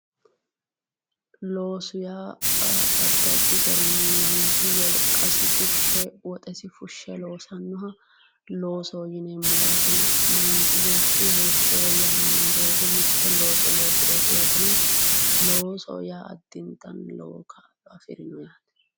loosu yaa addi addi garinni manchu woxei fushshe wolqasi fushshe lossannoha loosoho yineemmo yaate manchu beetti heeshsho woyyaawannohu mitte loosso loosirooti yaate loosoho yaa addintanni lowo kaajjilleeti.